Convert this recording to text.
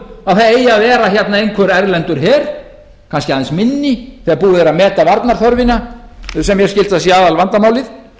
að það eigi að vera hérna einhver erlendur her kannski aðeins minni þegar búið er að meta varnarþörfina sem mér skilst að sé aðalvandamálið